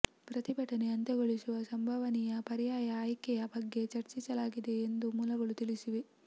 ಪ್ರತಿಭಟನೆ ಅಂತ್ಯಗೊಳಿಸುವ ಸಂಭವನೀಯ ಪರ್ಯಾಯ ಆಯ್ಕೆಯ ಬಗ್ಗೆ ಚರ್ಚಿಸಲಾಗಿದೆ ಎಂದು ಮೂಲಗಳು ತಿಳಿಸಿವೆ